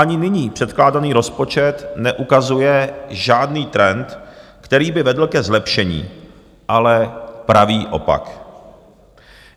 Ani nyní předkládaný rozpočet neukazuje žádný trend, který by vedl ke zlepšení, ale pravý opak.